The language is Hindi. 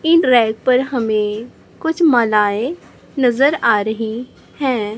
इन रैक पर हमें कुछ मलायें नजर आ रही है।